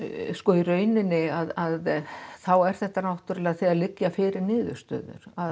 í rauninni þá er þetta náttúrulega þegar liggja fyrir niðurstöður